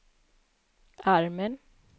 armen